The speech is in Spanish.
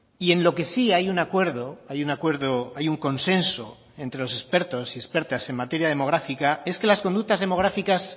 y en lo que sí hay un acuerdo hay un acuerdo hay un consenso entre los expertos y expertas en materia demográfica es que las conductas demográficas